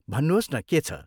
भन्नुहोस् न, के छ?